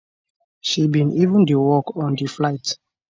she bin even dey work on di flight